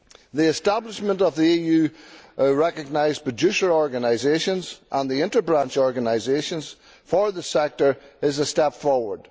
The establishment of the EU recognised producer organisations and the interbranch organisations for the sector is a step forward.